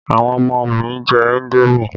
Àwọn ọmọ mi jẹ indomi